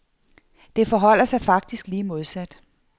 Det forholder sig faktisk lige modsat.